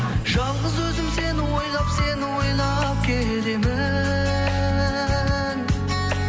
жалғыз өзім сені ойлап сені ойлап келемін